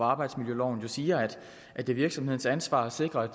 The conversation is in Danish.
arbejdsmiljøloven siger jo at det er virksomhedens ansvar at sikre at